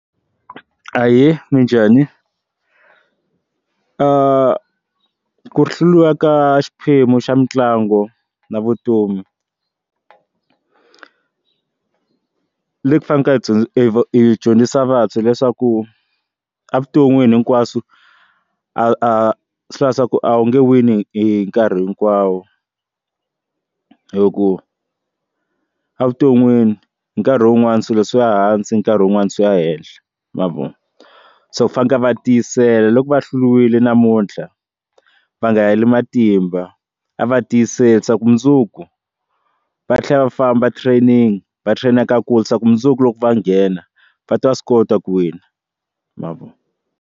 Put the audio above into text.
Ahee, minjhani? ku hluriwa ka xiphemu xa mitlangu na vutomi leyi ku fanekele hi tsudzu hi dyondza hi dyondzisa vantshwa leswaku avuton'wini hinkwaswo a swi hlayi ku a wu nge wini hi nkarhi hinkwawo hi ku a vuton'wini hi nkarhi wun'wani swilo swi ya hansi nkarhi wun'wana swi ya henhla ma vo so fanekele va tiyisela loko va hluriwile namuntlha va nga heli matimba yimba a va tiyiseli leswaku mundzuku va tlhela va famba training va trainer ka kulisa ku mundzuku loko va nghena va ta swi kota ku wina ma vo.